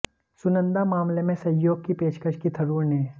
सुनंदा मामले में सहयोग की पेशकश की थरूर ने